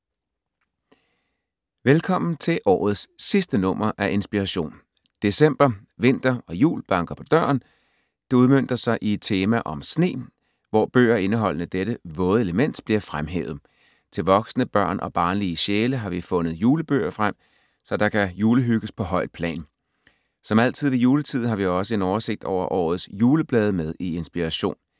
Velkommen til årets sidste nummer af Inspiration. December, vinter og jul banker på døren. Det udmønter sig i et tema om sne, hvor bøger indeholdende dette våde element bliver fremhævet. Til voksne, børn og barnlige sjæle har vi fundet julebøger frem, så der kan julehygges på højt plan. Som altid ved juletid, har vi også en oversigt over årets juleblade med i Inspiration.